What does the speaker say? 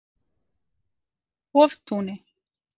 Hoftúni